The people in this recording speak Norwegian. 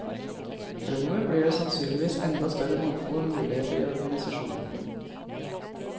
Fremmover blir det sannsynligvis enda større mangfold av muligheter i organisasjonen.